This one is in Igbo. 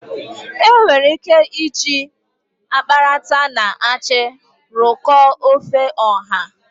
Enwere ike iji akparata na achị rụkọọ ofe ọha.